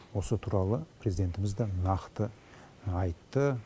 осы туралы президентіміз де нақты айтты